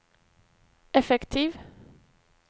effektiv